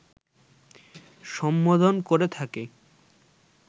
সম্বোধন করে থাকে